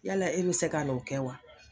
Yala e be se kan'o kɛ wa?